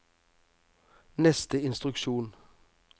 neste instruksjon